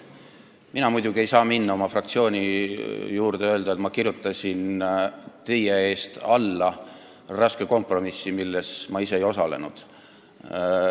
Mina muidugi ei saa minna oma fraktsiooni juurde ja öelda, et ma kirjutasin teie eest alla raske kompromissi, milles ma ise ei osalenud.